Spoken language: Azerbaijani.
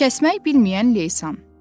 Kəsmək bilməyən Leysan.